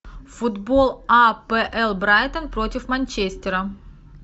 футбол апл брайтон против манчестера